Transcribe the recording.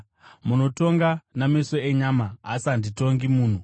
Munotonga nameso enyama; ini handitongi munhu.